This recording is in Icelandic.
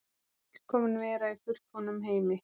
Fullkomin vera í fullkomnum heimi.